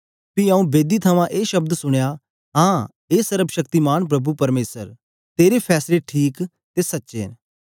पी आऊँ बेदी थमां ए शब्द सुनया हां हे सर्वशक्तिमान प्रभु परमेसर तेरे फैसले ठीक ते सच्चे न